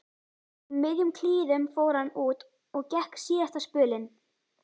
Í miðjum klíðum fór hann út og gekk síðasta spölinn.